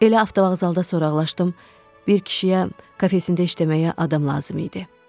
Elə avtovağzalda soraqlaşdım, bir kişiyə kafesində işləməyə adam lazım idi.